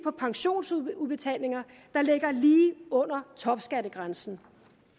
pensionsudbetalinger der ligger lige under topskattegrænsen